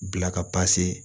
Bila ka